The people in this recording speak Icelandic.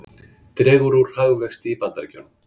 Dregur úr hagvexti í Bandaríkjunum